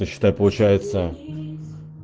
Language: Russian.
ну считай получается